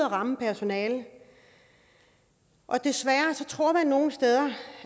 ramme personalet og desværre tror man nogle steder